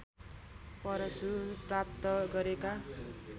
परशु प्राप्त गरेका